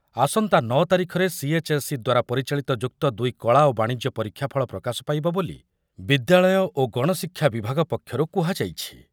ଆସନ୍ତା ନଅ ତାରିଖରେ ସିଏଚ୍‌ଏସ୍‌ଇ ଦ୍ୱାରା ପରିଚାଳିତ ଯୁକ୍ତ ଦୁଇ କଳା ଓ ବାଣିଜ୍ୟ ପରୀକ୍ଷାଫଳ ପ୍ରକାଶ ପାଇବ ବୋଲି ବିଦ୍ୟାଳୟ ଓ ଗଣଶିକ୍ଷା ବିଭାଗ ପକ୍ଷରୁ କୁହାଯାଇଛି।